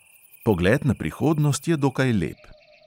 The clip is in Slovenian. Pogled na prihodnost je dokaj lep.